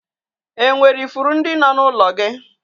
E nwere ifuru ndị nọ n'ụlọ gị?